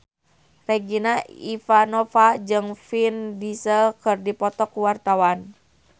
Regina Ivanova jeung Vin Diesel keur dipoto ku wartawan